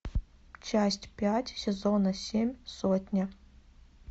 часть пять сезона семь сотня